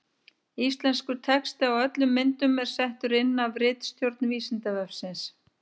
Íslenskur texti á öllum myndum er settur inn af ritstjórn Vísindavefsins.